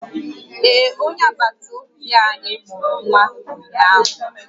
Ee, onye agbata obi anyị mụrụ nwa ụnyaahụ